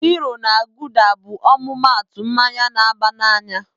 Hiro na gulda bụ ọmụmaatụ mmanya na-aba n'anya.